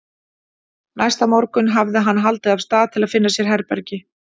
Næsta morgun hafði hann haldið af stað til að finna sér herbergi.